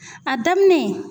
A daminɛ.